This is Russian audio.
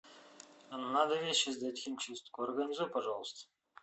надо вещи сдать в химчистку организуй пожалуйста